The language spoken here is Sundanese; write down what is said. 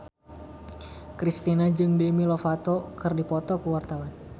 Kristina jeung Demi Lovato keur dipoto ku wartawan